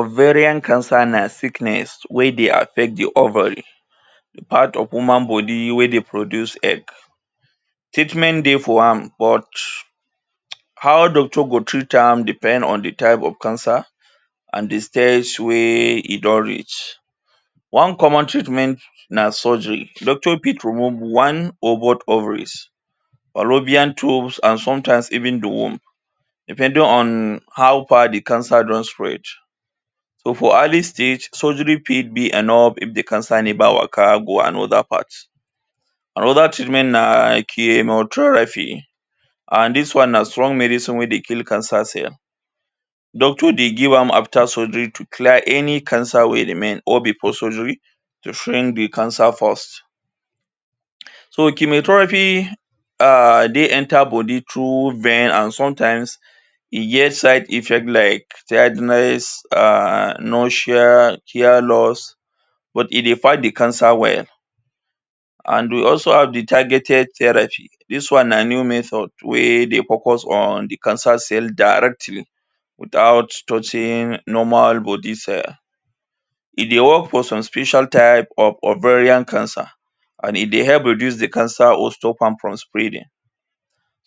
Ovarian cancer na sickness wey dey affect the ovary, the part of human body wey dey produce egg. Treatment dey for am but how doctor go treat am depend on the type of cancer and the stage wey e don reach. One common treatment na surgery. Doctor fit remove one or both ovaries, fallopian tube and sometimes even the womb. Depending on how far the cancer don spread. So for early stage, surgery fit be enough if they can sign a and other part. Another thing remain na chemotherapy. And dis one na strong medicine wey dey kill cancer cell. Doctor dey give am after surgery to clear any cancer wey remain or before surgery to shrink the cancer first. So chemotherapy ah dey enter body through vein and sometimes e get side effect like childless, um nausea, hair loss but e dey fit the cancer well. And we also have the targeted therapy. Dis one na new method wey dey focus on the cancer cell directly without touching normal body cell. E dey work for some special type of ovarian cancer and e dey help reduce the cancer or stop am from spreading.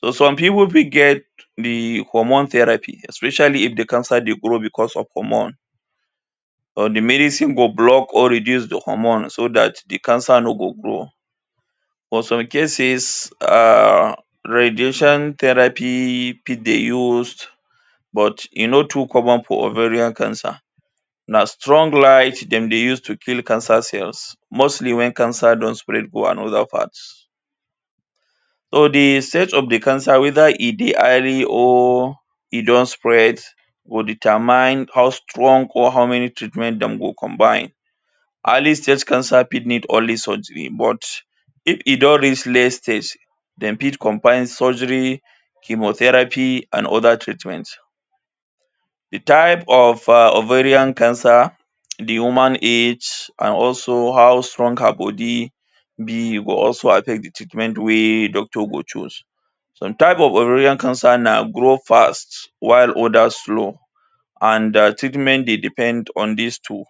So some people fit get the hormone therapy especially if the cancer dey grow because of hormone or the medicine go block or reduce the hormone so dat the cancer no go grow. But some cases um radiation therapy fit dey use but e no too common for ovarian cancer. Na strong light dem dey use to kill cancer cells, mostly when cancer don spread go another part. So the state of the cancer whether e dey highly or e don spread go determine how strong or how many treatment dem go combine. Early-stage cancer fit need only surgery but If e don reach next stage, dem fit combine surgery, chemotherapy and other treatment. The type of um ovarian cancer, the woman age and also how strong her body be go also affect the treatment wey doctor go choose. Some type of ovarian cancer na grow fast while others slow and their treatment dey depend on dis two.